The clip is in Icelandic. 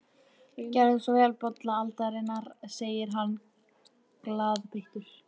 Gerið svo vel, bolla aldarinnar, segir hann glaðbeittur.